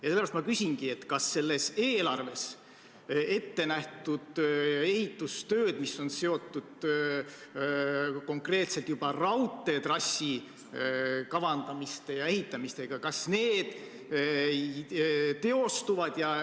Ja sellepärast ma küsingi, kas selles eelarves ette nähtud ehitustööd, mis on seotud konkreetselt juba raudteetrassi kavandamise ja ehitamistega, teostuvad.